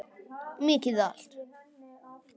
Mjög þétt.